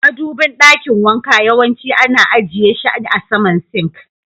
Madubin dakin wanka yawanci ana ajiye she a sama "sink".